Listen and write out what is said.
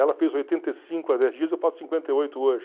Ela fez oitenta e cinco há dez dias, eu faço cinquenta e oito hoje.